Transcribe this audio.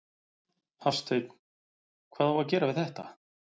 Hafsteinn: Hvað á að gera við þetta?